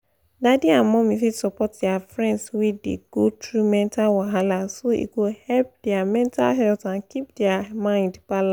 dadi and mumi fit support their friends wey dey go through mental wahala so e go help their mental health and keep their their mind balanced.